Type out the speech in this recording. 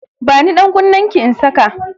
Bani dankunnenki in saka